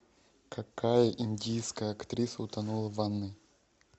какая индийская актриса утонула в ванной